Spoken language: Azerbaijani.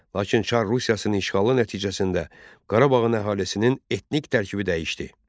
Lakin Çar Rusiyasının işğalı nəticəsində Qarabağın əhalisinin etnik tərkibi dəyişdi.